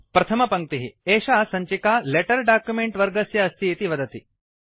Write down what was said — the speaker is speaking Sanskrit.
प्रथमपङ्क्तिः एषा सञ्चिका लेटर डॉक्युमेंट वर्गस्य अस्तीति वदति